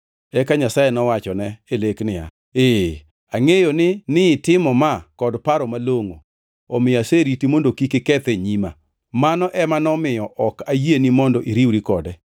Eka Nyasaye nowachone e lek niya, “Ee angʼeyo ni nitimo ma kod paro malongʼo omiyo aseriti mondo kik iketh e nyima. Mano ema nomiyo ok ayieni mondo iriwri kode.